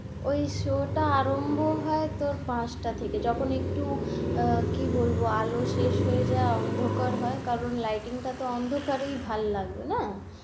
ওই show টা আরম্ভ হয় তো পাঁচটা থেকে যখন একটু আহ কি বলব আলো শেষ হয়ে যায় অন্ধকার হয় কারন lighting অন্ধকারেই ভাল লাগবে না,